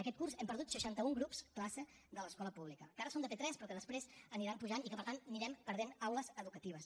aquest curs hem perdut seixanta un grups classe de l’escola pública que ara són de p3 però que després aniran pujant i que per tant anirem perdent aules educatives